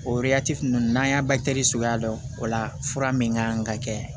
O ninnu n'an y'a suguya dɔn o la fura min ka kan ka kɛ